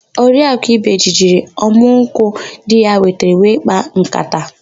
Oriakụ ibeji jiri ọmụ nkwụ di ya wetara wee kpaa nkata.